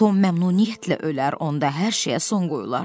Tom məmnuniyyətlə ölər, onda hər şeyə son qoyulardı.